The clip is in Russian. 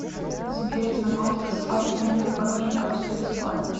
сбер знакомство с факерами в хорошем качестве бесплатно